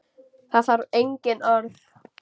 Það þarf engin orð.